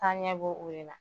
taaɲɛ bɛ o de la.